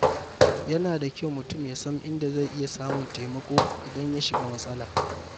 Yana da kyau mutum ya san inda zai iya samun taimako idan ya shiga matsala.